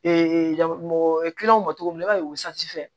mɔgɔ kilanga m cogo min i b'a ye o fɛ